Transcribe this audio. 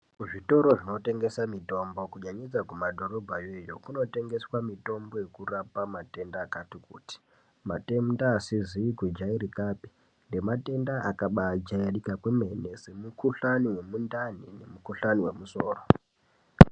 Kuzvitoro zvinotengesa mitombo kunyanyisa kumadhorobhayo iyoyo kunotengeswa mitombo yekurapa matenda akati kuti matenda asizi kujairikapi nematenda yakabajairika kwemene semukuhlani wemundani nemukuhlani wemusoro.